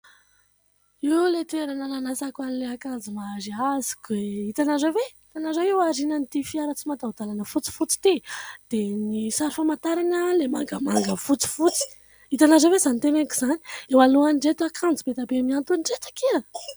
Io ilay toerana nanasako an'ilay akanjo mariaziko e ! Hitanareo ve ? Hitanareo io aorianan'ity fiara tsy mataho-dalana fotsifotsy ity dia ny sary famantarana ilay mangamanga fotsifotsy, itanareo ve izany teneniko izany ? Eo alohan'ireto akanjo be dia be mihantona ireto aky a !